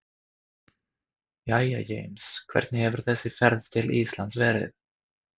Jæja James, hvernig hefur þessi ferð til Íslands verið?